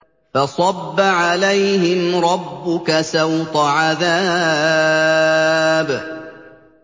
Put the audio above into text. فَصَبَّ عَلَيْهِمْ رَبُّكَ سَوْطَ عَذَابٍ